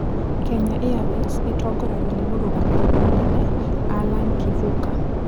Kenya Airways ĩtongoragio nĩ mũrũgamĩrĩri mũnene Allan Kivuka.